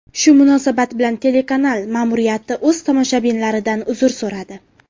Shu munosabat bilan telekanal ma’muriyati o‘z tomoshabinlaridan uzr so‘radi .